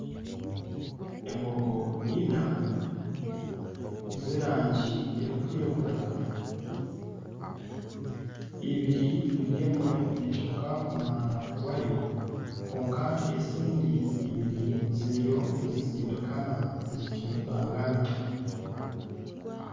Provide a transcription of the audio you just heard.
Embogo ina z'erangi erikwiragura ibiri buri emwe neeshoka omuhanda gwayo kwonka ezindi ibiri ziriyo nizisindikana nizicumutingana